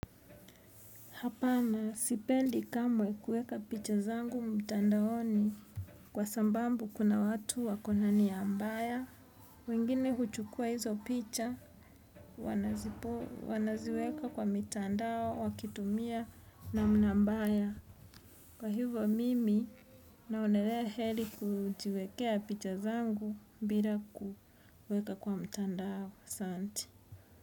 Hapana sipendi kamwe kuweka picha zangu mtandaoni kwa sababu kuna watu wako na nia mbaya. Wengine huchukuwa hizo picha wanaziweka kwa mitandao wakitumia namna mbaya. Kwa hivyo mimi naonelea heri kujiwekea picha zangu bira kuweka kwa mtandao.